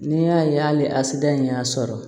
N'i y'a ye hali asidiya in y'a sɔrɔ